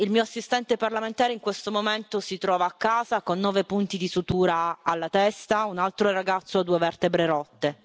Il mio assistente parlamentare, in questo momento si trova a casa con nove punti di sutura alla testa, un altro ragazzo ha due vertebre rotte.